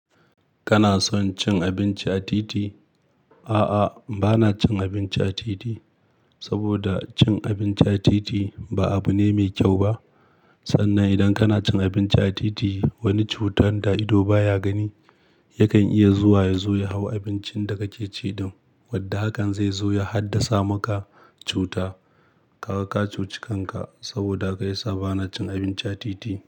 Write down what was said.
Kana son cin abinci a titi? A'a, bana cin abinci a titi saboda cin abinci a titi ba abu ne mai kyau ba. Sannan idan kana cin abinci a titi, wani cutar da ido baya gani yakan iya zuwa ya zo ya hau abincin da kake ci. Wadda hakan zai zo ya haddasa maka cuta. Kaga ka cuci kanka saboda ka yi sa bana cin abinci a titi.